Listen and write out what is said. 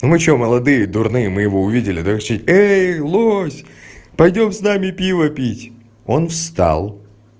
мы что молодые дурные мы его увидели давай кричать эй лось пойдём с нами пиво пить он встал